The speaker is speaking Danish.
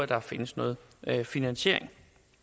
der findes noget finansiering